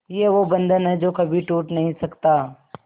ये वो बंधन है जो कभी टूट नही सकता